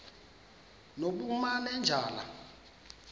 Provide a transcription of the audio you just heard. nobumanejala